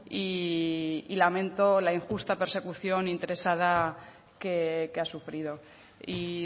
y lamento la injusta persecución interesada que ha sufrido y